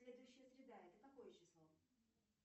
следующая среда это какое число